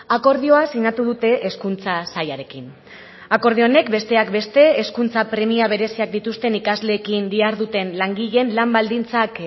akordioa sinatu dute hezkuntza sailarekin akordio honek besteak beste hezkuntza premia bereziak dituzten ikasleekin diharduten langileen lan baldintzak